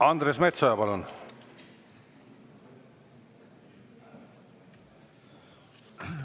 Andres Metsoja, palun!